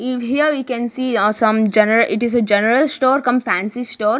here we can see ah some gena it is a general store cum fancy store.